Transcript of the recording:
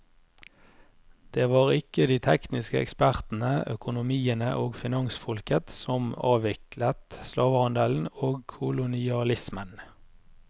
Det var ikke de tekniske ekspertene, økonomiene og finansfolket som avviklet slavehandelen og kolonialismen.